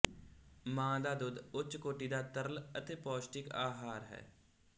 ਮਾਂ ਦਾ ਦੁੱਧ ਉੱਚ ਕੋਟੀ ਦਾ ਤਰਲ ਅਤੇ ਪੌਸ਼ਟਿਕ ਆਹਾਰ ਹੈ